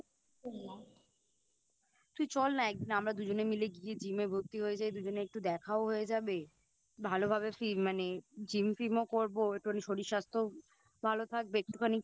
তুই চল না একদিন আমরা দুজনে মিলে গিয়ে Gym এ ভর্তি হয়ে যাই দুজনে একটু দেখাও হয়ে যাবে ভালোভাবে ফি মানে Gym tim ও করবো একটুখানি শরীর স্বাস্থ্যও ভালো থাকবে একটুখানি